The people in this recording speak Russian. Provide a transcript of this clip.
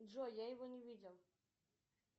джой я его не видел